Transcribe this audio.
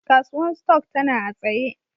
Kasuwan stock tana a'tsaye.